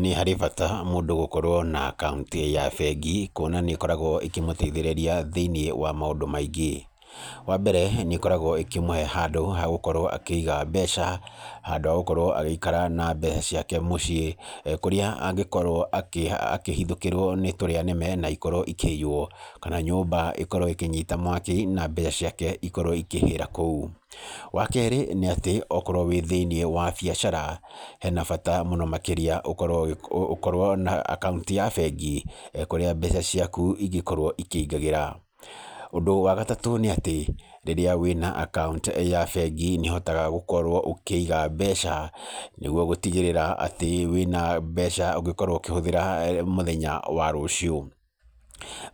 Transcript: Nĩ harĩ bata mũndũ gũkorwo na akaũnti ya bengi, kuona nĩ ĩkoragwo ĩkĩmũteithĩrĩria thĩ-inĩ wa maũndũ maingĩ, wa mbere nĩ ĩkoragwo ĩkĩmũhe handũ ha gũkorwo akĩiga mbeca, handũ wa gũkorwo agĩikara na mbeca ciake mũciĩ, kũrĩa angĩkorwo akĩhithũkĩrwo nĩ tũrĩa nĩme na ikorwo ikĩiywo, kana nyũmba ĩkorwo ĩkĩnyita mwaki na mbia ciake ikorwo ikĩhĩra kou. Wa kerĩ nĩ atĩ, okorwo wĩ thĩ-inĩ wa biacara, hena bata mũno makĩria ũkorwo na akaũnti ya bengi, kũrĩa mbeca ciaku ingĩkorwo ikĩingagĩra. Ũndũ wa gatatũ nĩ atĩ, rĩrĩa wĩna akaũnti ya bengi, nĩ ũhotaga gũkorwo ũkĩiga mbeca nĩguo gũtigĩrĩra atĩ wĩna mbeca ũngĩkorwo ũkĩhũthĩra mũthenya wa rũcio.